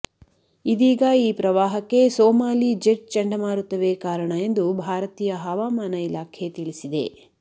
ಇದೀಗ ಈ ಪ್ರವಾಹಕ್ಕೆ ಸೋಮಾಲಿ ಜೆಟ್ ಚಂಡಮಾರುತವೇ ಕಾರಣ ಎಂದು ಭಾರತೀಯ ಹವಾಮಾನ ಇಲಾಖೆ ತಿಳಿಸಿದೆ